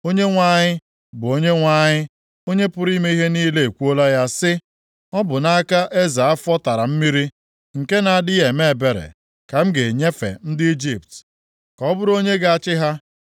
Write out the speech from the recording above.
Onyenwe anyị, bụ Onyenwe anyị, Onye pụrụ ime ihe niile ekwuola ya sị, Ọ bụ nʼaka eze afọ tara mmiri, + 19:4 Eze Shabaka, onye Kush chịrị ala Ijipt na senchuri nke asaa. \+xt Aịz 20:4; Jer 46:26; Izk 29:19\+xt* nke na-adịghị eme ebere, ka m ga-enyefe ndị Ijipt, ka ọ bụrụ onye ga-achị ha.”